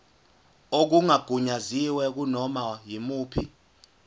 okungagunyaziwe kunoma yimuphi